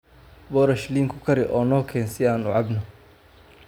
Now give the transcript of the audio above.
Boorash liin ku kari oo noo keen si aan u cabno.